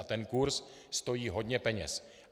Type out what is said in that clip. A ten kurz stojí hodně peněz.